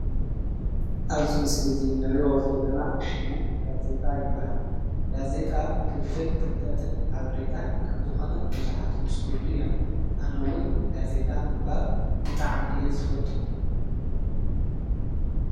አብዚ ምስሊ እዚ ንሪኦ ዘለና ሽሙ ጋዜጣ ይበሃል፡፡ ጋዜጣ ፍልፍል ፍልጠትን ሓበሬታን ከምዝኾነ ብዙሓት ይምስክርሉ እዮም፡፡ አነ’ውን ጋዜጣ ምንባብ ብጣዕሚ እየ ዝፈቱ ፡፡